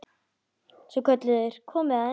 Svo kölluðu þeir: Komiði aðeins!